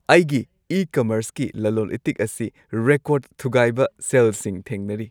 ꯑꯩꯒꯤ ꯏ-ꯀꯃꯔꯁꯀꯤ ꯂꯂꯣꯜ-ꯏꯇꯤꯛ ꯑꯁꯤ ꯔꯦꯀꯣꯔꯗ ꯊꯨꯒꯥꯏꯕ ꯁꯦꯜꯁꯤꯡ ꯊꯦꯡꯅꯔꯤ꯫